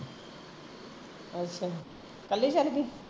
ਅੱਛਾ ਕੱਲੀ ਚੱਲ ਗਈ?